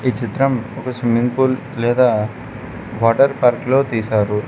ఈ చిత్రం ఒక స్విమ్మింగ్ పూల్ లేదా వాటర్ పార్క్ లో తీసారు.